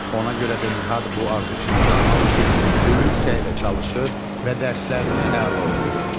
Ona görə də Nihat bu arzusuna çatmaq üçün böyük səylə çalışır və dərslərini əla oxuyur.